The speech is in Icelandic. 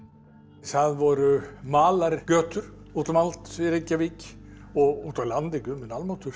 það voru malargötur út um allt í Reykjavík og úti á landi Guð minn almáttugur